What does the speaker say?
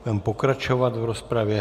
Budeme pokračovat v rozpravě.